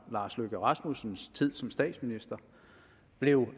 lars løkke rasmussens tid som statsminister blev